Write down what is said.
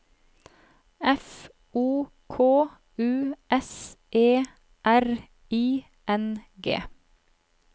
F O K U S E R I N G